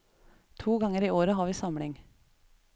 To ganger i året har vi samling.